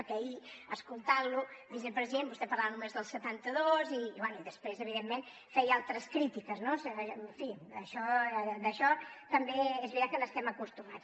perquè ahir escoltant lo vicepresident vostè parlava només del setanta dos i bé i després evidentment feia altres crítiques no en fi a això també és veritat que hi estem acostumats